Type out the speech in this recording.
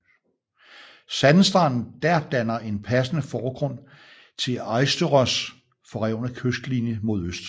Sandstranden dér danner en passende forgrund til Eysturoys forrevne kystlinje mod øst